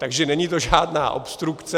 Takže to není žádná obstrukce.